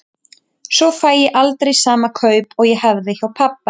Svo fæ ég aldrei sama kaup og ég hafði hjá pabba.